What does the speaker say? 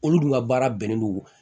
Olu dun ka baara bɛnnen don